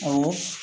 Awɔ